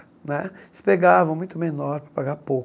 Né eles pegavam muito menor para pagar pouco.